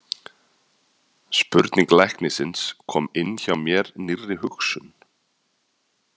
Spurning læknisins kom inn hjá mér nýrri hugsun.